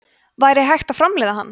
væri hægt að framleiða hann